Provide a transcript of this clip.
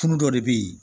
Kun dɔ de bɛ ye